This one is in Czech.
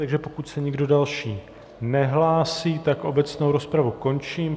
Takže pokud se nikdo další nehlásí, tak obecnou rozpravu končím.